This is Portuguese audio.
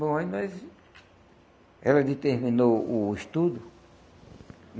Bom, aí nós... Ela ainda terminou o estudo.